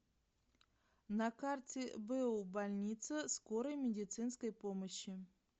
на карте бу больница скорой медицинской помощи